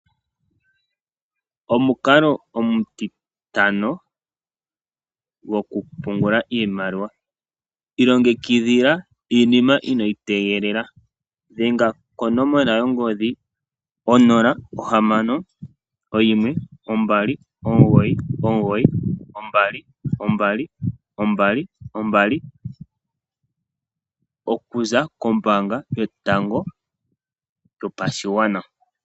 Omukalo omutitano gwokupungula iimaliwa, ilongekidhila iinima inoyi tegelela, dhenga konomola yongodhi 061 299 2222, oku za kombaanga yotango yopashigwana.